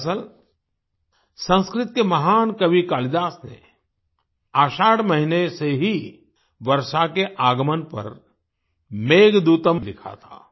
दरअसल संस्कृत के महान कवि कालिदास ने आषाढ़ महीने से ही वर्षा के आगमन पर मेघदूतम् लिखा था